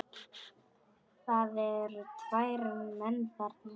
Það eru tveir menn þarna